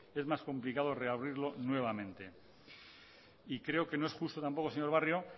es más complicado reabrirlo nuevamente y creo que no es justo tampoco señor barrio